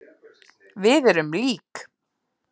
Við erum lík.